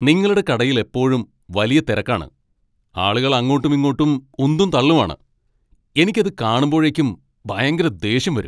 നിങ്ങളുടെ കടയിൽ എപ്പോഴും വലിയ തിരക്കാണ്, ആളുകൾ അങ്ങോട്ടുമിങ്ങോട്ടും ഉന്തും തള്ളുമാണ്. എനിക്ക് അത് കാണുമ്പോഴേക്കും ഭയങ്കര ദേഷ്യം വരും.